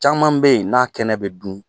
Caman be ye, n'a kɛnɛ bɛ dun